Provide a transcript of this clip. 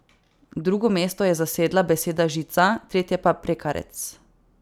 Drugo mesto je zasedla beseda žica, tretje pa prekarec.